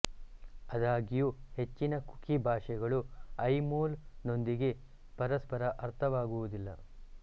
ಆದಾಗ್ಯೂ ಹೆಚ್ಚಿನ ಕುಕಿ ಭಾಷೆಗಳು ಐಮೋಲ್ ನೊಂದಿಗೆ ಪರಸ್ಪರ ಅರ್ಥವಾಗುವುದಿಲ್ಲ